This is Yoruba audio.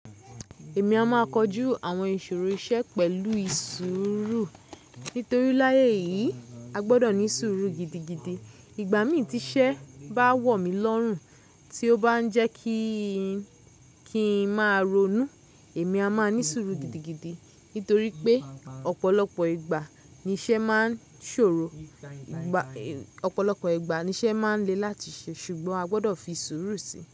Èmi a máa kojú àwọn ìṣòro iṣẹ́ pẹ̀lú ìsuuru. Nítorí láyé yìí a gbọdọ̀ ní sùúrù gidigidi. Ìgbà mí tí iṣẹ́ bá wọ̀ mí lọ́rùn, tí ó bá ń jẹ́ kí ń máa ronú, èmi a máa ní sùúrù gidigidi. Nítorí pé ọ̀pọ̀lọpọ̀ ìgbà ni iṣẹ́ máa ń ṣòro. Ọ̀pọ̀lọpọ̀ ìgbà ni iṣẹ́ máa ń le láti ṣe ṣùgbọ́n a gbọdọ̀ fi ìṣòro sí i.